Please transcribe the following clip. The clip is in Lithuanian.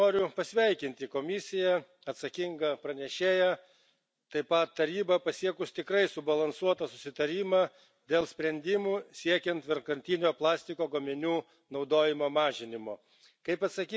Bet, visų pirma, noriu pasveikinti Komisiją, atsakingą pranešėją, taip pat Tarybą pasiekus tikrai subalansuotą susitarimą dėl sprendimų siekiant vienkartinio plastiko gaminių naudojimo mažinimo.